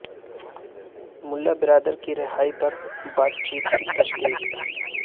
ملا برادر کی رہائی پر بات چیت کی تصدیق